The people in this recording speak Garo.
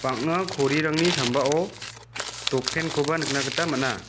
bang·a korirangni sambao dot pen koba nikna gita man·a.